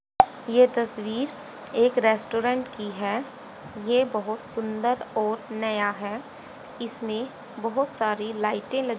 ये तस्वीर एक रेस्टोरेंट की हैं ये बहुत सुंदर और नया है इसमें बहुत सारी लाइटें ल --